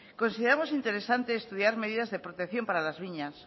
consideramos interesante estudiar medidas de protección para las viñas